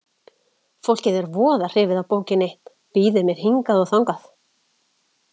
Fólk er voða hrifið af bókinni, býður mér hingað og þangað.